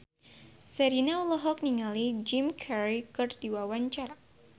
Sherina olohok ningali Jim Carey keur diwawancara